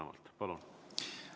Palun!